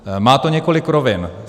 Má to několik rovin.